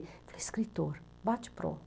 Escritor, bate e pronto.